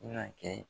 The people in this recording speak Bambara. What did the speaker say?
Na kɛ